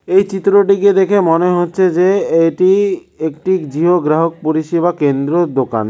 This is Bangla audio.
এই চিত্রটিকে দেখে মনে হচ্ছে যে এটি একটি জিও গ্রাহক পরিষেবা কেন্দ্রর দোকান।